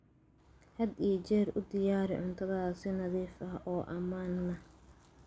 Had iyo jeer u diyaari cuntada si nadiif ah oo ammaan ah.